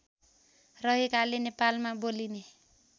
रहेकाले नेपालमा बोलिने